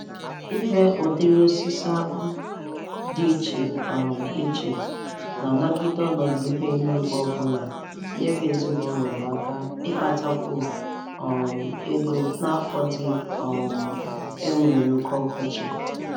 Ire ụdịrị osisi akpụ dị ịche um iche na-anagide ọnọdụ ihu eluigwe obụla nyere ezina ụlọ m aka ịkpatakwu um ego n'afọ ndị um e nwere oke ọkọchị.